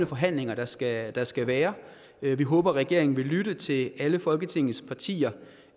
forhandlinger der skal være skal være vi vi håber regeringen vil lytte til alle folketingets partier